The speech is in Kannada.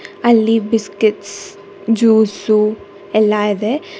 ಅಲ್ಲಿ ಬಿಸ್ಕೆಟ್ಸ್ ಜ್ಯೂಸು ಎಲ್ಲ ಇದೆ.